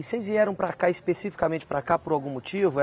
E vocês vieram para cá especificamente para cá por algum motivo?